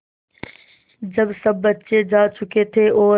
जब सब बच्चे जा चुके थे और